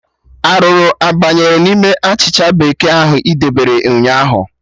Arụrụ abanyere n'ime achịcha bekee ahụ ị debere ụnyaahụ?